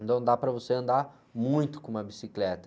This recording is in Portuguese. Então dá para você andar muito com uma bicicleta.